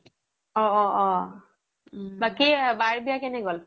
অ অ অ বাকি বাৰ বিয়া কেনে গ্'ল